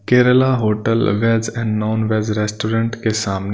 Kerala hotel veg and non veg restaurant के सामने--